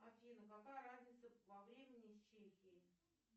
афина какая разница во времени с чехией